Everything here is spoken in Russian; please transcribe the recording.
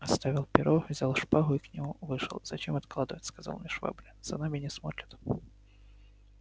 я оставил перо взял шпагу и к нему вышел зачем откладывать сказал мне швабрин за нами не смотрят